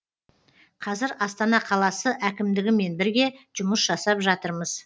қазір астана қаласы әкімдігімен бірге жұмыс жасап жатырмыз